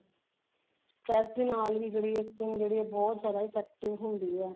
ਨਾਲ ਵੀ ਜਿਹੜੀ ਹੈ skin ਜਿਹੜੀ ਹੈ ਬਹੁਤ ਜਿਆਦਾ effective ਹੁੰਦੀ ਹੈ